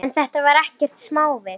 En þetta var ekkert smávik.